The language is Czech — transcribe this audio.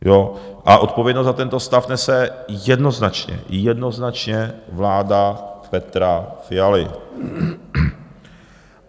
A odpovědnost za tento stav nese jednoznačně, jednoznačně, vláda Petra Fialy.